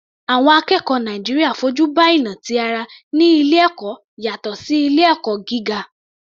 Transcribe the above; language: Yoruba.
Àwọn akẹ́kọ̀ọ́ Nàìjíríà fojú ba ìnà ti ara ní ilé ẹ̀kọ́ yàtọ̀ sí ilé ẹ̀kọ́ gíga.